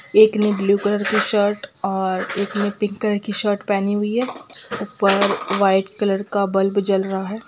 एक ने blue colour shirt और एक ने पिंक कलर की शर्ट पहनी हुई है ऊपर व्हाइट कलर का बल्ब जल रहा है।